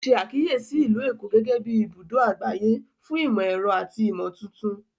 O ṣe àkíyèsí Ìlú Èkó gẹgẹbi ibùdó àgbáyé fún imọ-ẹrọ àti imotuntun